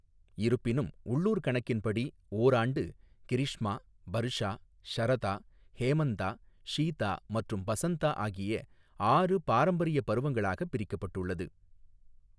இருப்பினும், உள்ளூர் கணக்கின் படி ஓராண்டு கிரிஷ்மா, பர்ஷா, ஷரதா, ஹேமந்தா, ஷீதா மற்றும் பசந்தா ஆகிய ஆறு பாரம்பரிய பருவங்களாக பிரிக்கப்பட்டுள்ளது.